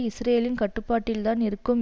இஸ்ரேலின் கட்டுப்பாட்டில் தான் இருக்கும்